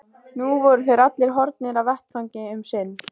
Nú voru þeir allir horfnir af vettvangi um sinn.